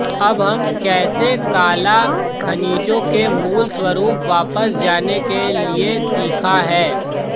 अब हम कैसे काला खनिजों के मूल स्वरूप वापस जाने के लिए सीखा है